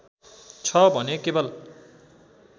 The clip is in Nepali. छ भने केवल